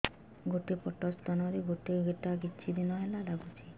ଗୋଟେ ପଟ ସ୍ତନ ରେ ଗୋଟେ ଗେଟା କିଛି ଦିନ ହେଲା ଲାଗୁଛି